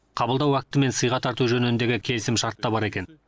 қабылдау акті мен сыйға тарту жөніндегі келісімшарт та бар екен